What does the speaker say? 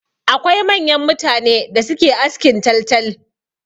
Akwai manyan mutane da suke askin taltal.